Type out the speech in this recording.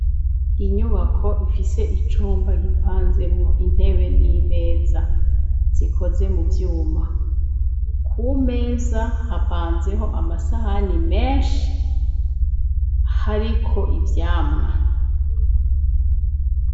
Inyubako, ifise icumba gipanzemwo intebe n'imeza, zikoze mu vyuma; ku meza, hapanzeho amasahani menshi, hariko ivyamwo.